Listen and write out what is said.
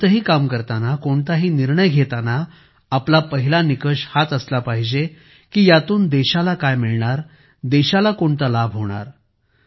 आपण कोणतेही काम करताना कोणताही निर्णय घेताना आपला पहिला निकष हाच असला पाहिजे की यातून देशाला काय मिळणार देशाला कोणता लाभ होणार